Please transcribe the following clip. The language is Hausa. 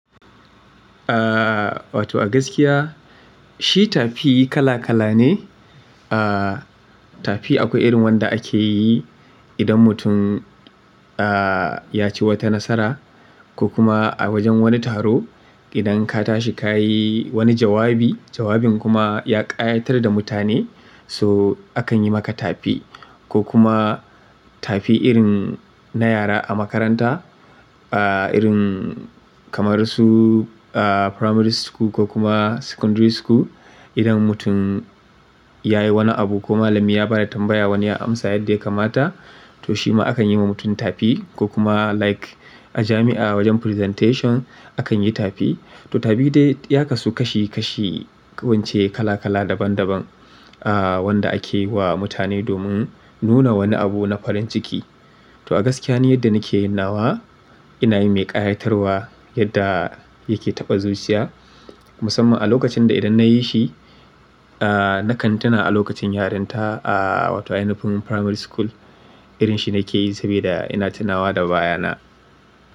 Ah, wato a gaskiya shi tafi kala kala ne. Ah tafi akwai irin wanda ake yi idan mutum ya ci wata nasara ko kuma a wajen wani taro idan ka tashi ka yi wani jawabi, jawabin kuma ya ƙayatar da mutane, so akan yi maka tafi. Ko kuma tafi irin na yara a makaranta, aa irin kamar su aa primary school ko kuma secondary school. Idan mutum ya yi wani abu ko malami ya ba da tambaya wani ya amsa yadda ya kamata, to shi ma akan yi wa mutum tafi. Ko kuma like a jami'a wajen presentation akan yi tafi. To tafi dai ya kasu kashi kashi kawai ince kala kala daban daban aa wanda ake yi wa mutane domin nuna wani abu na farin ciki. To a gaskiya ni yadda nake yin nawa ina yi mai ƙayatarwa yadda yake taɓa zuciya. Musamman a lokacin da idan na yi shi aa nakan tuna a lokacin yaranta a wato ainahin primary school. Irin shi nake yi sabida ina tunawa da bayana.